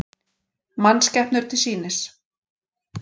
Mannskepnur til sýnis